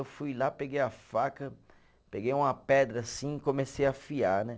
Eu fui lá, peguei a faca, peguei uma pedra assim e comecei a afiar, né?